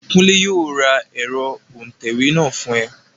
Kúnlé yóò ra ẹ̀rọ òǹtẹ̀wé náà fún ẹ